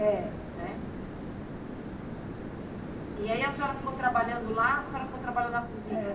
É. Né E aí a senhora ficou trabalhando lá, a senhora ficou trabalhando na cozinha? É